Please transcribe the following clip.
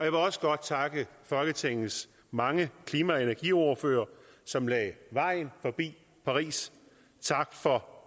vil også godt takke folketingets mange klima og energiordførere som lagde vejen forbi paris tak for